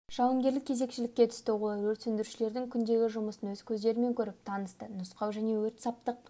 жауынгерлік кезекшілікке түсті олар өрт сөндірушілердің күндегі жұмысын өз көздерімен көріп танысты нұсқау және өрт-саптық